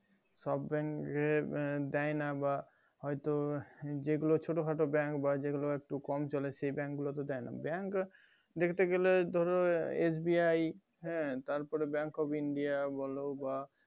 সব bank এ দেয়না বা হয়তো যেগুলো ছোট খাটো bank বা যেইগুলো একটু কম চলে সেই bank গুলোতে দেয় না bank দেখতে গেলে ধরো SBI হ্যাঁ তার পরে bank of india বলো বা